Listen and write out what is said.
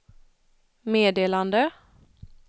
meddelande